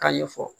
K'a ɲɛfɔ